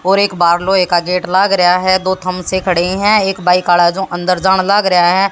और एक बारलो का गेट लग रहा है दो थमसे खड़े हैं एक बाइक खड़ा है जो अंदर जाना लग रहा है।